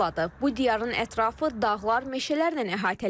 Bu diyarın ətrafı dağlar, meşələrlə əhatələnib.